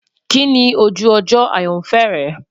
Kini oju ojo ayanfẹ rẹ?